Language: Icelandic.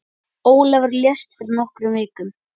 Kaninn getur átt við